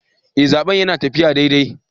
Eh, zaben yana taffiya daidai.